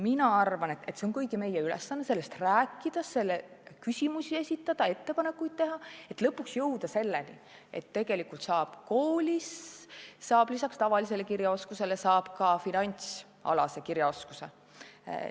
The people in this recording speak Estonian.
Mina arvan, et meie kõigi ülesanne on sellest rääkida, selle kohta küsimusi esitada, ettepanekuid teha, et lõpuks jõuda selleni, et koolis saab peale tavalise kirjaoskuse ka finantsalase kirjaoskuse.